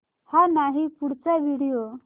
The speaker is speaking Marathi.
हा नाही पुढचा व्हिडिओ